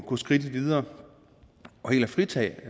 gå skridtet videre og helt fritage